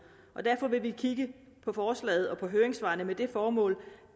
og derfor vil vi kigge på forslaget og på høringssvarene med det formål